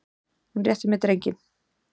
Hún réttir mér drenginn.